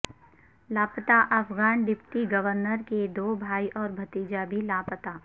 لاپتا Afghan deputy governor کے دو بھائی اور بھتیجا بھی لاپتا